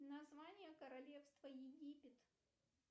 название королевства египет